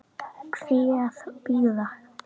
Hví að bíða?